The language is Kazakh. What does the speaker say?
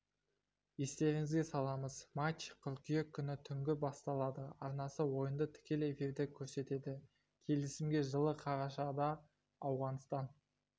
естеріңізге саламыз матч қыркүйек күні түнгі басталады арнасы ойынды тікелей эфирде көрсетеді келісімге жылы қарашада ауғанстан